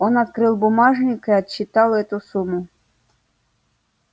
он открыл бумажник и отсчитал эту сумму